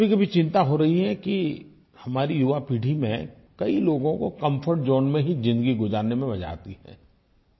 मुझे कभीकभी चिंता होती है कि हमारी युवा पीढ़ी में कई लोगों को कम्फर्ट ज़ोन में ही ज़िंदगी गुज़ारने में आनंद आता है